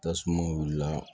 Tasuma wulila